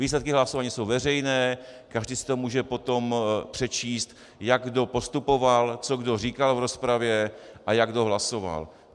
Výsledky hlasování jsou veřejné, každý si to může potom přečíst, jak kdo postupoval, co kdo říkal v rozpravě a jak kdo hlasoval.